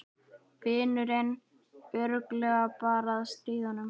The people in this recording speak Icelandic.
Vinurinn örugglega bara að stríða honum.